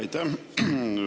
Aitäh!